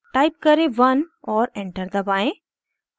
type करें 1 और enter दबाएं